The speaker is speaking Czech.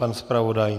Pan zpravodaj?